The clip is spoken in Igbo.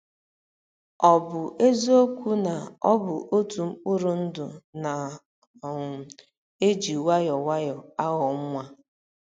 Ọ ̀ bụ eziokwu na ọ bụ otu mkpụrụ ndụ na - um eji nwayọọ nwayọọ aghọ nwa?